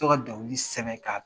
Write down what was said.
to ka sɛbɛ ka